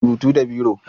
Ana rubutu da biro.